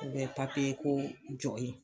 I bɛ ko jɔn yen